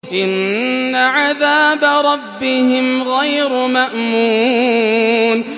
إِنَّ عَذَابَ رَبِّهِمْ غَيْرُ مَأْمُونٍ